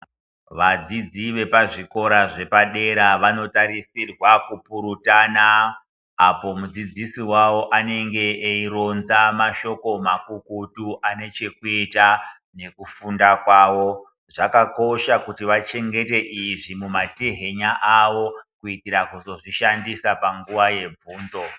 Vadzidzi vepazvikora zvepadera vanotarisirwa kupurutana. Apo mudzidzisi wavo anenge eyironza mashoko makukutu anechekuita nekufunda kwawo. Zvakakosha kuti vachengete izvi mumatehenya awo kuitira kuzozvishandisa panguva yebvunzo.